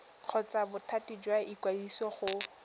kgotsa bothati jwa ikwadiso go